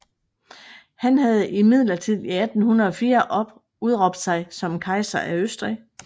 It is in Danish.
Han havde imidlertid i 1804 udråbt sig som kejser af Østrig